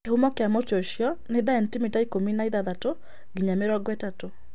Kĩhumo kĩa mũtĩ ũcio nĩ sentimita ikũmi na ithathatũ nginya mĩrongo ĩtatũ